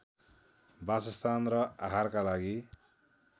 वासस्थान र आहारका लागि